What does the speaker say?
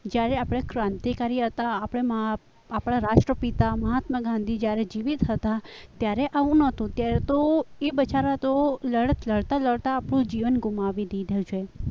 જ્યારે આપણે ક્રાંતિકારી હતા આપણા રાષ્ટ્રપિતા મહાત્મા ગાંધી જ્યારે જીવીત થતા ત્યારે આવું ન હતું ત્યારે તો એ બિચારા તો લડત લડતા લડતા જીવન ગુમાવી દીધું છે.